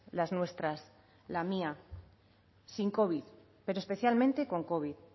las nuestras la mía sin covid pero especialmente con covid